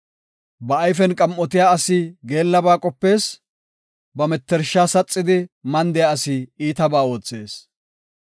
Ba ayfen qam7otiya asi geellaba qopees; ba mettersha saxidi mandiya asi iitabaa oothees.